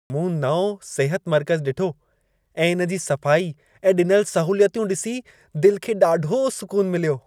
मूं नओं सिहत मर्कज़ु ॾिठो ऐं इन जी सफ़ाई ऐं ॾिनल सहूलियतूं ॾिसी दिल खे ॾाढो सुकुन मिलियो।